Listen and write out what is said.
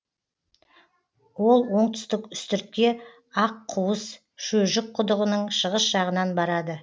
ол оңтүстік үстіртке аққуыс шөжік құдығының шығыс жағынан барады